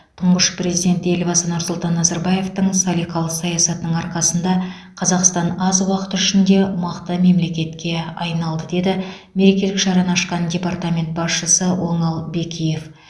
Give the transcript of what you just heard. тұңғыш президент елбасы нұрсұлтан назарбаевтың салиқалы саясатының арқасында қазақстан аз уақыт ішінде мықты мемлекетке айналды деді мерекелік шараны ашқан департамент басшысы оңал бекиев